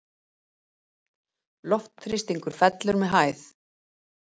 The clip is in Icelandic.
Loftþrýstingur fellur með hæð.